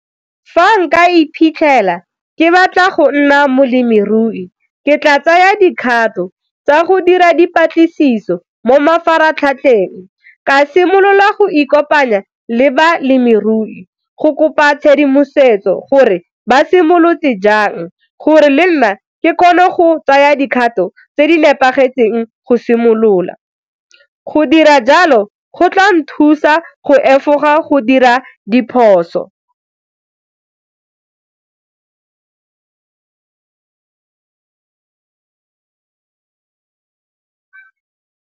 Fa nka iphitlhela ke batla go nna molemirui ke tla tsaya dikgato tsa go dira dipatlisiso mo mafaratlhatlheng, ka simolola go ikopanya le balemirui go kopa tshedimosetso gore ba simolotse jang gore le nna ke kgone go tsaya dikgato tse di nepagetseng go simolola, go dira jalo go tla nthusa go efoga go dira diphoso.